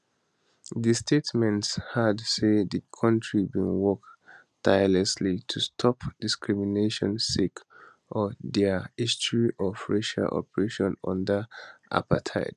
di statement add say di kontri bin work tirelessly to stop discrimination sake of dia history of racial oppression under apartheid